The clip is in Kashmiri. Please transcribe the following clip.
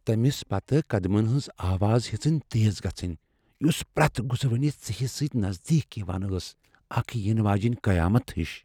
تمِس پتہٕ قدمن ہنز آواز ہیژٕن تیز گژھٕنۍ ، یُس پریتھ گُزرونِس ژیہِس سۭتۍ نزدیك یوان ٲس ، اكھ ینہٕ واجینہِ قیامتھ ہِش ۔